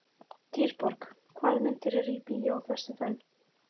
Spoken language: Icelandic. Dýrborg, hvaða myndir eru í bíó á föstudaginn?